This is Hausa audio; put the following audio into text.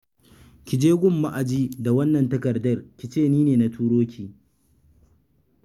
Ki je gun ma'aji da wannan takardar ki ce ni na turo ki.